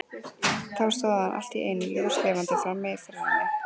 Þá stóð hann allt í einu ljóslifandi frammi fyrir henni.